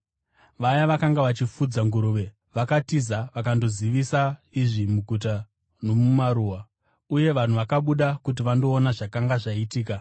Vaya vakanga vachifudza nguruve vakatiza vakandozivisa izvi muguta nomumaruwa, uye vanhu vakabuda kuti vandoona zvakanga zvaitika.